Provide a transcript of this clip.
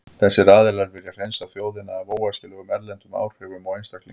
Þessir aðilar vilja hreinsa þjóðina af óæskilegum erlendum áhrifum og einstaklingum.